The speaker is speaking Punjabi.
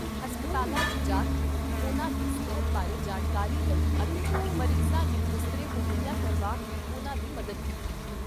ਹਸਪਤਾਲਾਂ 'ਚ ਜਾ ਕੇ ਉਨ੍ਹਾਂ ਦੀ ਸਿਹਤ ਬਾਰੇ ਜਾਣਕਾਰੀ ਲਈ ਅਤੇ ਮਰੀਜ਼ਾਂ ਨੂੰ ਬਿਸਤਰੇ ਮੁਹੱਈਆ ਕਰਵਾ ਕੇ ਉਨ੍ਹਾਂ ਦੀ ਮਦਦ ਕੀਤੀ।